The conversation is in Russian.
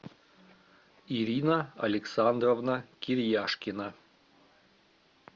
ирина александровна кирьяшкина